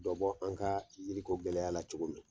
Dɔ bɔ an ka yiriko gɛlɛya la cogo min !